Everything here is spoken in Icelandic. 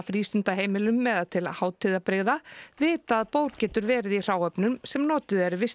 frístundaheimilum eða til hátíðabrigða vita að bór getur verið í hráefnum sem notuð eru við